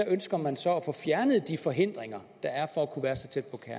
ønsker man så at få fjernet de forhindringer der er for at kunne være så tæt